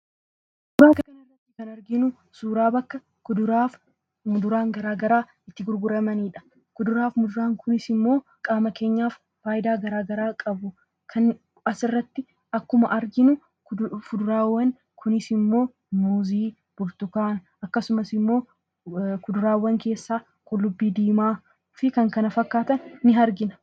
Suuraa kana irratti kan arginu suuraa bakka kuduraafi muduraan gara garaa itti gurguramanidha. Kuduraaf muduraan kunis ammoo qaama kenyaaf faayidaa gara garaa qabu. Asirratti akkuma arginu fuduraawwan kunis ammoo muuzii, burtukaana akkasumas ammoo kuduraawwan keessaa qullubbii diimaafi kan kana fakkaatan ni argina.